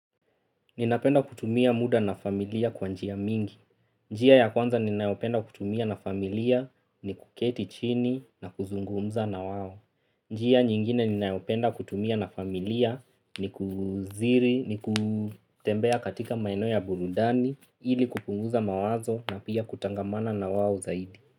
Ninapenda kutumia muda na familia kwa njia mingi. Njia ya kwanza ninayopenda kutumia na familia ni kuketi chini na kuzungumza na wao. Njia nyingine ninayopenda kutumia na familia ni kuziri, ni kutembea katika maeneo ya burudani ili kupunguza mawazo na pia kutangamana na wao zaidi.